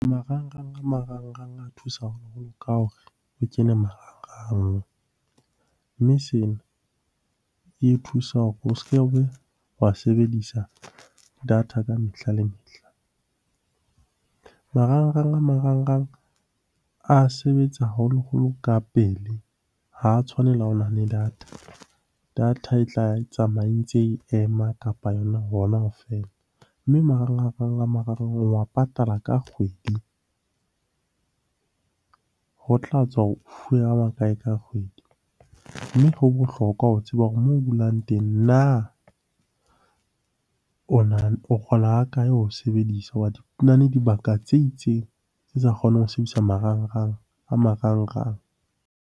Marangrang a marangrang a thusa haholo ka hore o kene marangrang. Mme sena e thusa hore o se kebe wa sebedisa data ka mehla le mehla. Marangrang a marangrang a sebetsa haholoholo ka pele, ha tshwane le ha o na le data. Data e tla tsamaya e ntse ema kapa yona hona ho fela, mme marangrang a marangrang o wa patala ka kgwedi. Ho tla tswa hore o fuwe a makae ka kgwedi? Mme ho bohlokwa ho tseba hore moo o dulang teng na o kgola hakae ho sebedisa? Na le dibaka tse itseng tse sa kgoneng ho sebedisa marangrang a marangrang.